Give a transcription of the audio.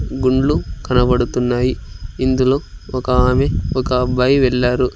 గుండ్లు కనబడుతున్నాయి ఇందులో ఒక ఆమె ఒక అబ్బాయి వెళ్లారు.